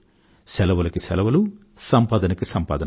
సెలవులకు సెలవులూ సంపాదనకు సంపాదనా